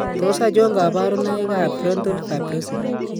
Tos achon kabarunaik ab frontal fibrosing ?